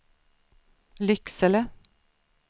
Lycksele